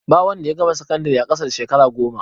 Ba wanda ya gama sakandire a ƙasa da shekara goma.